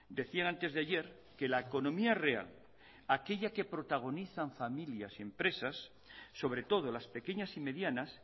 decían antes de ayer que la economía real aquella que protagonizan familias y empresas sobre todo las pequeñas y medianas